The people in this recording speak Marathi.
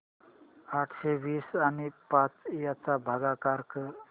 अठराशे वीस आणि पाच यांचा भागाकार कर